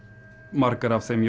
margar af þeim